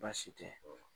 Baasi tɛ